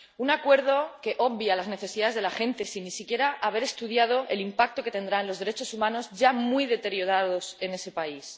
Un acuerdo que obvia las necesidades de la gente sin ni siquiera haber estudiado el impacto que tendrá en los derechos humanos, ya muy deteriorados en ese país.